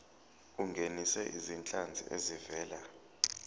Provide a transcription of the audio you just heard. ungenise izinhlanzi ezivela